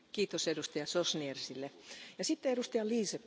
Frau Präsidentin, Herr Kommissar, liebe Kolleginnen und Kollegen!